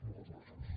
moltes gràcies